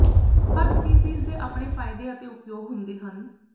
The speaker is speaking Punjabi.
ਹਰ ਸਪੀਸੀਜ਼ ਦੇ ਆਪਣੇ ਫ਼ਾਇਦੇ ਅਤੇ ਉਪਯੋਗ ਹੁੰਦੇ ਹਨ